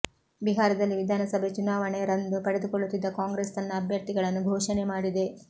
ಬಿಹಾರದಲ್ಲಿ ವಿಧಾನಸಭೆ ಚುನಾವಣೆ ರಂದು ಪಡೆದುಕೊಳ್ಳುತ್ತಿದ್ದು ಕಾಂಗ್ರೆಸ್ ತನ್ನ ಅಭ್ಯರ್ಥಿಗಳನ್ನು ಘೋಷಣೆ ಮಾಡಿದೆ